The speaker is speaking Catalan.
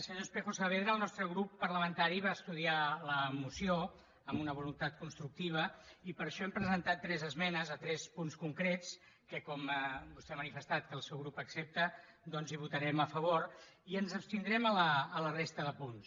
senyor espejo saavedra el nostre grup parlamentari va estudiar la moció amb una voluntat constructiva i per això hem presentat tres esmenes a tres punts concrets que com vostè ha manifestat que el seu grup les accepta doncs hi votarem a favor i ens abstindrem en la resta de punts